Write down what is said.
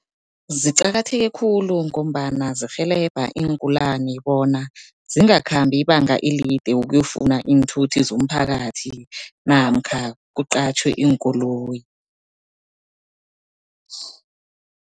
Ziqakatheke khulu ngombana zirhelebha iingulani, bona zingakhambi ibanga elide ukuyofuna iinthuthi zomphakathi namkha kuqatjhwe iinkoloyi.